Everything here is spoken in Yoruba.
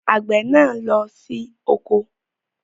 Àgbè náà lọ sí oko